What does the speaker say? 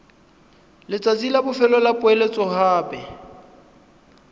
letsatsi la bofelo la poeletsogape